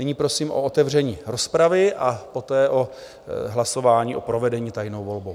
Nyní prosím o otevření rozpravy a poté o hlasování o provedení tajné volby.